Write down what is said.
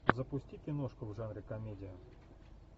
запусти киношку в жанре комедия